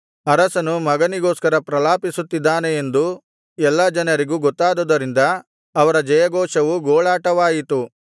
ಅರಸನು ಮಗನಿಗೊಸ್ಕರ ಪ್ರಲಾಪಿಸುತ್ತಿದ್ದಾನೆ ಎಂದು ಎಲ್ಲಾ ಜನರಿಗೂ ಗೊತ್ತಾದುದರಿಂದ ಅವರ ಜಯಘೋಷವು ಗೋಳಾಟವಾಯಿತು